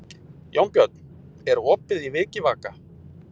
Jónbjörn, er opið í Vikivaka?